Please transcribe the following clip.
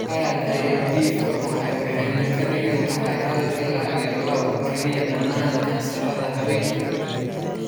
Aad ayey dhif u tahay waxayna ka dhigan tahay hal ila iyo lawa kaliya dhammaan kansarrada haweenka.